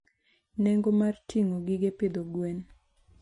Nengo mar ting'o gige pidho gwen.